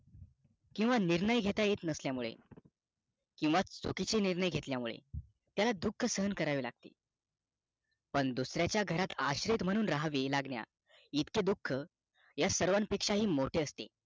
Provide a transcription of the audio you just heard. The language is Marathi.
किंवा निर्णय घेता येत नसल्या मुळे किंवा चुकीचे निर्णय घेतल्यामुळे त्याला दुःख सहन करावे लागते पण दुसऱ्याचा घरात आश्रयी म्हणून राहणं चे दुःख या सर्वाना पेक्षाही मोठे असते